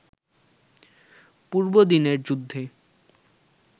পূর্বদিনের যুদ্ধে